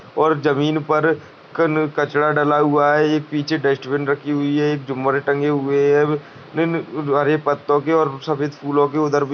और जमीन पर कन कचरा डला हुआ है यह पीछे डस्ट्बिन रखी हुई है जुमर टंगे हुए है और हरे पत्तो के सफेद फूलों के उधर भी --